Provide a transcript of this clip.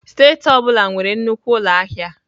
Steeti ọ bụla nwere nnukwu ụlọ ahịa.